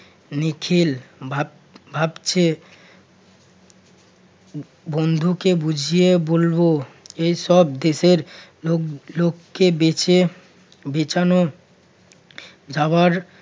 নিখিল ভাব~ ভাবছে ব~ বন্ধুকে বুঝিয়ে বলব। এসব দেশের লোক~ লোককে বেঁচে বিছানো যাবার